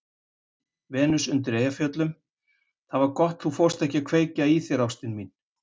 Venus undan Eyjafjöllum:- Það var gott þú fórst ekki að kveikja í þér ástin mín.